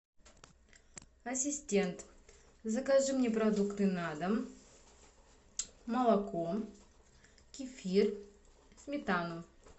ассистент закажи мне продукты на дом молоко кефир сметану